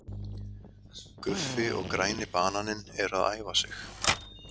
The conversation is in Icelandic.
Guffi og græni bananinn eru að æfa sig.